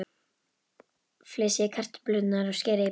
Flysjið kartöflurnar og skerið í bita.